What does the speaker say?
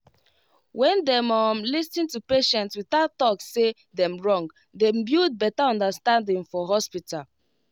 when dem um lis ten to patient without talk say dem wrong dem build better understanding for hospital